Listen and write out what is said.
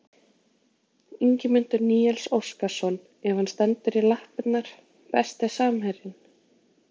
Ingimundur Níels Óskarsson ef hann stendur í lappirnar Besti samherjinn?